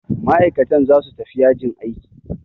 Ma'aikatan zasu tafi yajin aiki.